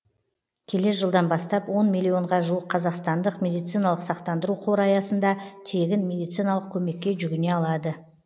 келер жылдан бастап он миллионға жуық қазақстандық медициналық сақтандыру қоры аясында тегін медициналық көмекке жүгіне алады